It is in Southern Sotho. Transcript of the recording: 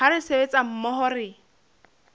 ha re sebetsa mmoho re